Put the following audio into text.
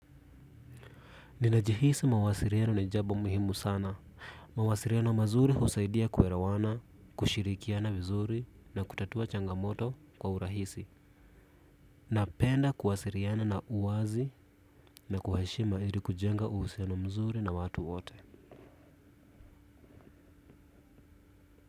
Ninajihisi mawasiriano nijabo muhimu sana. Mawasiriano mazuri husaidia kuerawana, kushirikiana vizuri na kutatua changamoto kwa urahisi. Napenda kuwasiriana na uwazi na kwa heshima ili kujenga uhusiano mzuri na watu wote.